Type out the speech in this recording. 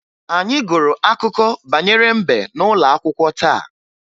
Anyị gụrụ akụkọ banyere mbe n'ụlọ akwụkwọ taa